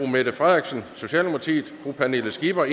mette frederiksen pernille skipper